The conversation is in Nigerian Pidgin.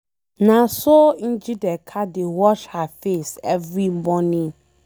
Na so Njideka dey wash her face every morning.